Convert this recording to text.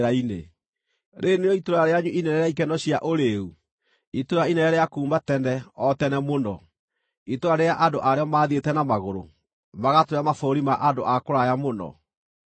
Rĩĩrĩ nĩrĩo itũũra rĩanyu inene rĩa ikeno cia ũrĩĩu, itũũra inene rĩa kuuma tene, o tene mũno, itũũra rĩrĩa andũ aarĩo maathiĩte na magũrũ magatũũre mabũrũri ma andũ a kũraya mũno?